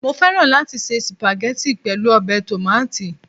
Mo fẹ́ràn láti se spaghetti pẹ̀lú ọbẹ̀ tòmátì